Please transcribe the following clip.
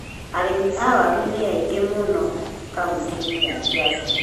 Arĩmi a waru nĩ aingĩ mũno kaunitĩ-inĩ ya Kĩambu.